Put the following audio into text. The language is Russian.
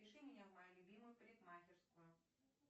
запиши меня в мою любимую парикмахерскую